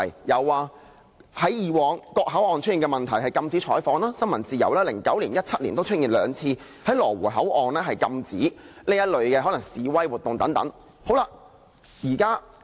有的，在過去各口岸出現的問題就是禁止採訪、新聞自由 ，2009 年和2017年均出現兩次在羅湖口岸禁止可能示威活動。